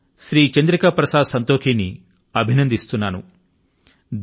నేను శ్రీ చంద్రిక ప్రసాద్ సంతోఖీ ని అభినందిస్తున్నాను